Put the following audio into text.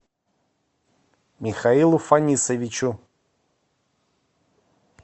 михаилу фанисовичу